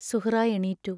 സുഹ്റാ എണീറ്റു.